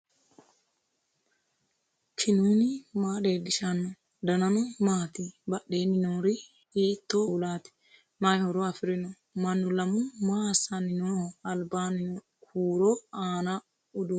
knuni maa leellishanno ? danano maati ? badheenni noori hiitto kuulaati ? mayi horo afirino ? mannu lamu maa assanni nooho albanni huuro aanno uduunni hiissi'nanniho